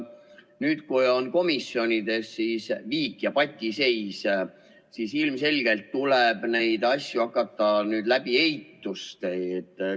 Nüüd, kui on komisjonides viik ja patiseis, siis ilmselgelt tuleb neid asju hakata nüüd otsustama eituste abil.